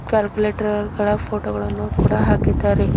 Calculator ಗಳ photo ಗಳನ್ನು ಕೂಡ ಹಾಕಿದ್ದಾರೆ.